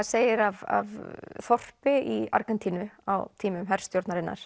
segir af þorpi í Argentínu á tímum herstjórnarinnar